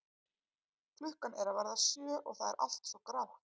Klukkan er að verða sjö og það er allt svo grátt.